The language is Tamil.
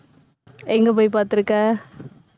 எங்க போய் பார்த்திருக்க